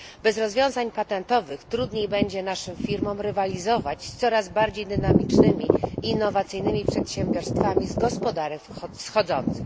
Bez rozwiązań patentowych trudniej będzie naszym firmom rywalizować z coraz bardziej dynamicznymi i innowacyjnymi przedsiębiorstwami z gospodarek wschodzących.